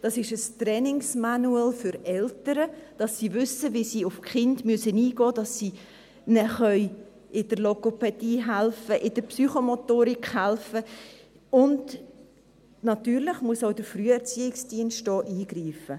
Das ist ein Trainingsmanual für Eltern, damit sie wissen, wie sie auf die Kinder eingehen müssen, damit sie ihnen in der Logopädie helfen, in der Psychomotorik helfen, und natürlich muss auch der Früherziehungsdienst hier eingreifen.